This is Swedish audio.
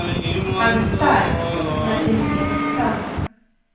Han är stark, men till ingen nytta.